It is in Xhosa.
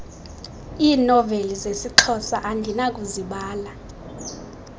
iinoveli zesixhosa andinakuzibala